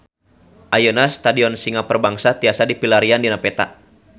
Ayeuna Stadion Singa Perbangsa tiasa dipilarian dina peta